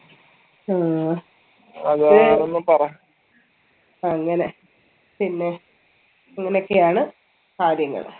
ആ അങ്ങനെ പിന്നെ ഇങ്ങനൊക്കെയാണ് കാര്യങ്ങള്